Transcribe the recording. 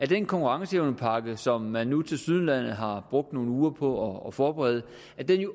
den konkurrenceevnepakke som man nu tilsyneladende har brugt nogle uger på at forberede